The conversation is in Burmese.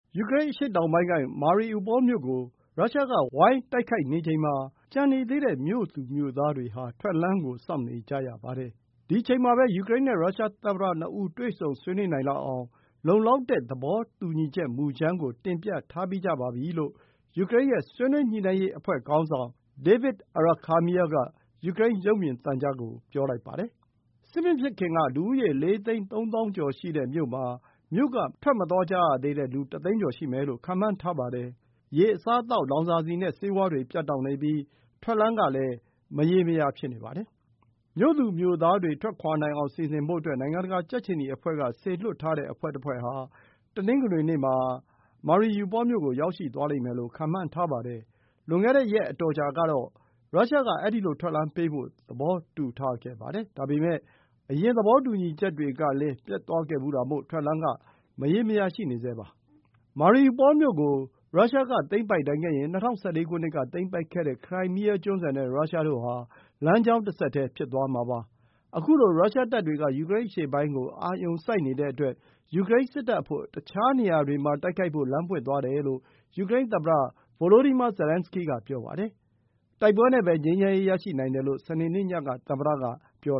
ယူကရိန်း အရှေ့တောင်ပိုင်းက Mariupol မြို့ကို ရုရှားက ဝိုင်းတိုက်ခိုက်နေချိန်မှာ ကျန်နေသေးတဲ့ မြို့သူမြို့သားတွေဟာ ထွက်လမ်းကို စောင့်နေကြရပါတယ်။ ဒီအချိန်မှာပဲ ယူကရိန်းနဲ့ ရုရှားသမ္မတ ၂ ဦး တွေ့ဆုံ ဆွေးနွေးနိုင်လောက်အောင် လုံလောက်တဲ့ သဘောတူညီချက် မူကြမ်းကို တင်ပြထားပြီးကြပါပြီလို့ ယူကရိန်းရဲ့ ဆွေးနွေးညှိနှိုင်းရေး အဖွဲ့ခေါင်းဆောင် Davyd Arakhamia က ယူကရိန်း ရုပ်မြင်သံကြားကို ပြောပါတယ်။ စစ်မဖြစ်ခင်က လူဦးရေ ၄ သိန်း ၃ သောင်းကျော်ရှိတဲ့ မြို့မှာ မြို့က မထွက်ကြရသေးတဲ့ လူ ၁ သိန်းကျော် ရှိမယ်လို့ ခန့်မှန်းထားပါတယ်။ ရေ၊ အစားအသောက်၊ လောင်စာဆီနဲ့ ဆေးဝါးတွေ ပြတ်တောက်နေပြီး ထွက်လမ်းကလည်း မရေမရာ ဖြစ်နေပါတယ်။ မြို့သူမြို့သားတွေ ထွက်ခွါနိုင်အောင် စီစဉ်ဖို့အတွက် နိုင်ငံတကာ ကြက်ခြေနီအဖွဲ့က စေလွှတ်ထားတဲ့ အဖွဲ့တဖွဲ့ဟာ တနင်္ဂနွေနေ့မှာ Mariupol မြို့ကို ရောက်ရှိသွားလိမ့်မယ်လို့ ခန့်မှန်းထားပါတယ်။ လွန်ခဲ့တဲ့ ရက်အတော်ကြာကတော့ ရုရှားက အဲဒီလို ထွက်လမ်းပေးဖို့ သဘောတူထားခဲ့ပါတယ်။ ဒါပေမဲ့ အရင်သဘောတူညီချက်တွေကလည်း ပျက်သွားခဲ့ဖူးတာမို့ ထွက်လမ်းက မရေမရာ ရှိနေဆဲပါ။ Mariupol မြို့ကို ရုရှားက သိမ်းပိုက်နိုင်ခဲ့ရင် ၂၀၁၄ ခုနှစ်က သိမ်းပိုက်ခဲ့တဲ့ ခရိုင်းမီးယား ကျွန်းဆွယ်နဲ့ ရုရှားတို့ဟာ လမ်းကြောင်းတဆက်တည်း ဖြစ်သွားမှာပါ။ ခုလို ရုရှားတပ်တွေက ယူကရိန်း အရှေ့ပိုင်းကို အာရုံစိုက်နေတဲ့အတွက် ယူကရိန်း စစ်တပ်အဖို့ တခြားနေရာတွေမှာ တိုက်ခိုက်ဖို့ လမ်းပွင့်သွားတယ်လို့ ယူကရိန်းသမ္မတ Volodymyr Zelenskyy က ပြောပါတယ်။ “တိုက်ပွဲနဲ့ပဲ ငြိမ်းချမ်းရေး ရရှိနိုင်တယ်” လို့ စနေနေ့ညက သမ္မတက ပြော